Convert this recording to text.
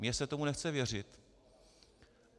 Mě se tomu nechce věřit.